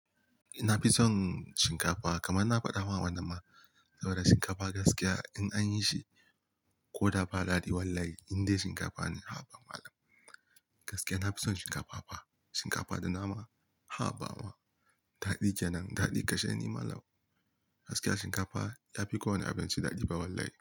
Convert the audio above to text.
Ina fi son shinkafa kamar na faɗawa wani ma saboda shinkafa gaskiya in an yi shi ko da ba gari ba wallahi indai shinkafa ne. Haba malam gaskiya na fi son shinkafa fa shinkafa da nama haba ma daɗi kenan daɗi kashen ni mallam. Gaskiya shinkafa yafi kowane abinci daɗi fa wallahi.